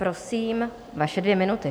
Prosím, vaše dvě minuty.